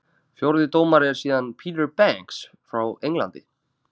Fjórði dómari er síðan Peter Banks frá Englandi.